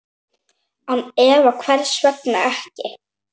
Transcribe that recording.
Án efa, hvers vegna ekki?